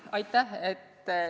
Aitäh!